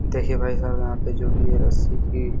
देखिये भाईसाब यहाँ पे जो भी है रस्सी की --